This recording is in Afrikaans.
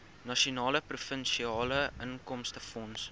nasionale provinsiale inkomstefonds